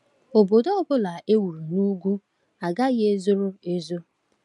Obodo ọ bụla e wuru n’ugwu agaghị ezoro ezo.